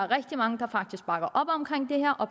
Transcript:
rigtig mange der faktisk bakker op om